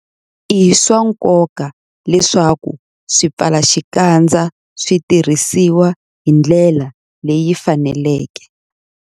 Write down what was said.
I swa nkoka leswaku swipfalaxikandza swi tirhisiwa hi ndlela leyi faneleke.